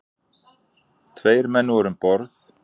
Tveir menn voru um borð.